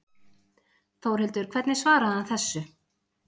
Þórhildur hvernig svaraði hann þessu?